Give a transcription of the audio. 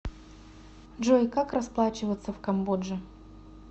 джой как расплачиваться в камбодже